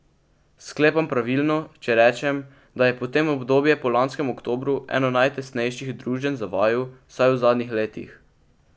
Sklepam pravilno, če rečem, da je potem obdobje po lanskem oktobru eno najtesnejših druženj za vaju, vsaj v zadnjih letih?